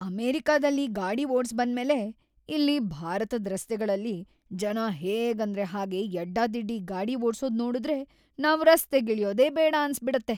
ಅಮೆರಿಕದಲ್ಲಿ ಗಾಡಿ ಓಡ್ಸ್‌ ಬಂದ್ಮೇಲೆ, ಇಲ್ಲಿ ಭಾರತದ್‌ ರಸ್ತೆಗಳಲ್ಲಿ ಜನ ಹೇಗಂದ್ರೆ ಹಾಗೇ ಯಡ್ಡಾದಿಡ್ಡಿ ಗಾಡಿ ಓಡ್ಸೋದ್‌ ನೋಡುದ್ರೆ ನಾವ್‌ ರಸ್ತೆಗಿಳ್ಯೋದೇ ಬೇಡ ಅನ್ಸ್‌ಬಿಡತ್ತೆ.